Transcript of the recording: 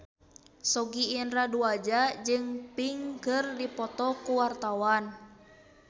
Sogi Indra Duaja jeung Pink keur dipoto ku wartawan